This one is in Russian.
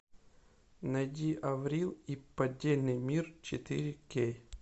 найди аврил и поддельный мир четыре кей